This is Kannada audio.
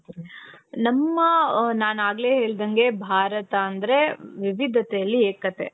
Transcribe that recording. ನಮ್ಮ ನಾನ್ ಆಗ್ಲೇ ಹೇಳಿದಂಗೆ ಭಾರತ ಅಂದ್ರೆ ವಿವಿಧತೆಯಲ್ಲಿ ಏಕತೆ.